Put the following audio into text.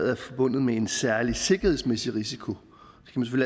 er forbundet med en særlig sikkerhedsmæssig risiko